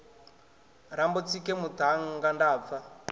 rambo tsike muṱhannga nda pfa